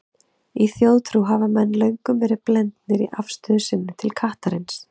Í þjóðtrú hafa menn löngum verið blendnir í afstöðu sinni til kattarins.